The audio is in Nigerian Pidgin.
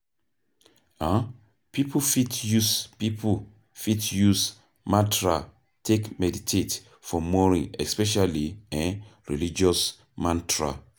um Pipo fit use Pipo fit use mantra take meditate for morning especially um religious mantra